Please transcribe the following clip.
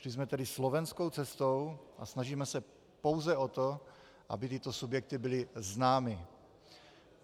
Šli jsme tedy slovenskou cestou a snažíme se pouze o to, aby tyto subjekty byly známy.